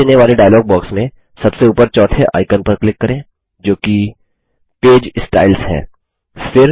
अब दिखाई देने वाले डायलॉग बॉक्स में सबसे ऊपर चौथे आइकन पर क्लिक करें जो कि पेज स्टाइल्स है